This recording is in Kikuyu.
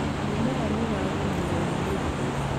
Mĩmera nĩ ĩragũmĩirwo nĩ mĩrimũ